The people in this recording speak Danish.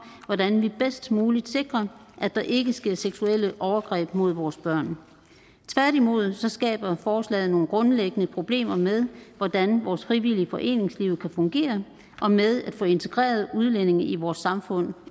hvordan vi bedst muligt sikrer at der ikke sker seksuelle overgreb mod vores børn tværtimod skaber forslaget nogle grundlæggende problemer med hvordan vores frivillige foreningsliv kan fungere og med at få integreret udlændinge i vores samfund